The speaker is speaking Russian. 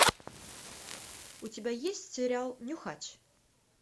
у тебя есть сериал нюхач